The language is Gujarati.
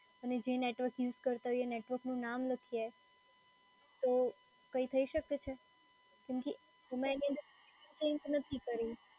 અને જે નેટવર્ક યુઝ કરતાં હોઈએ, એ નેટવર્કનું નામ લખીએ. તો કઈ શકે છે? કેમ કે એમાં એની અંદર ચેંજ નથી કરી.